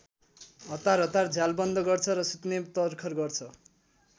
हतारहतार झ्याल बन्द गर्छ र सुत्ने तरखर गर्छ।